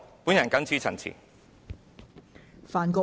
我謹此陳辭。